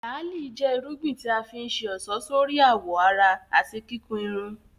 Làálí jẹ́ irúgbìn tí a fi ń ṣe ọ̀ṣọ́ sórí àwọ̀ ara àti kíkun irun